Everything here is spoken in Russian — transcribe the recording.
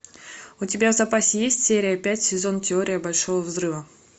у тебя в запасе есть серия пять сезон теория большого взрыва